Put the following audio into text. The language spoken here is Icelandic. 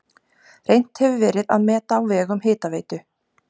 Reynt hefur verið að meta á vegum Hitaveitu